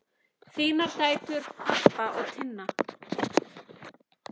Þínar dætur, Harpa og Tinna.